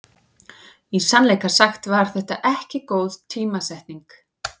Í sannleika sagt var þetta ekki góð tímasetning.